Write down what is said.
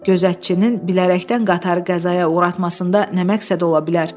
Gözətçinin bilərəkdən qatarı qəzaya uğratmasında nə məqsəd ola bilər?